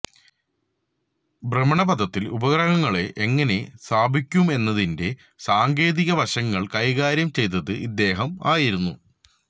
ഭ്രമണപഥത്തില് ഉപഗ്രങ്ങളെ എങ്ങനെ സ്ഥാപിക്കണമെന്നതിന്റെ സാങ്കേതികവശങ്ങള് കൈകാര്യം ചെയ്തത് ഇദ്ദേഹം ആയിരുന്നു